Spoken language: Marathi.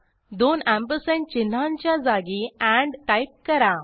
दोन अँपरसँड चिन्हांच्या जागी एंड टाईप करा